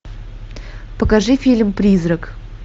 покажи фильм призрак